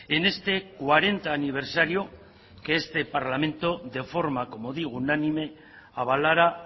en este cuarenta aniversario que este parlamento de forma como digo unánime avalara